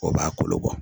O b'a kolo bɔ